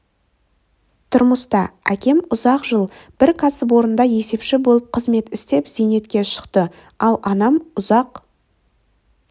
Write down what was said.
тұрмыста әкем ұзақ жыл бір кәсіпорында есепші болып қызмет істеп зейнетке шықты ал анам үзақ